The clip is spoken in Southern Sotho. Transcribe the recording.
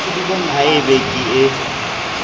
ha e be ke ee